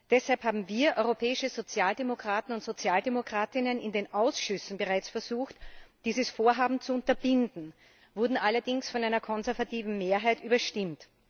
Deshalb haben wir europäische Sozialdemokraten und Sozialdemokratinnen in den Ausschüssen bereits versucht, dieses Vorhaben zu unterbinden, wurden allerdings von einer konservativen Mehrheit überstimmt.